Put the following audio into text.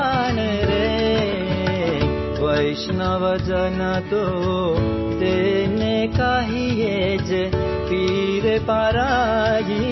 सोंग